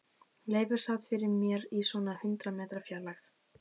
Leifur sat fyrir mér í svona hundrað metra fjarlægð.